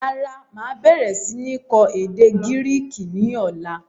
Rárá, máa bẹ̀rẹ̀ sini kọ́ èdè Gíríìkì ni ọ̀la.